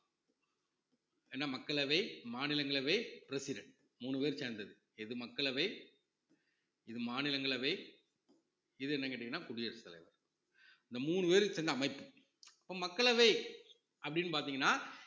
ஏன்னா மக்களவை, மாநிலங்களவை, president மூணு பேரும் சேர்ந்தது இது மக்களவை இது மாநிலங்களவை இது என்னன்னு கேட்டீங்கன்னா குடியரசு தலைவர் இந்த மூணு பேருக்கு சேர்ந்த அமைப்பு இப்ப மக்களவை அப்படீன்னு பாத்தீங்கன்னா